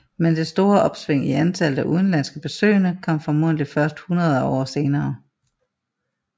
Men det store opsving i antallet af udenlandske besøgende kom formodentligt først hundrede år senere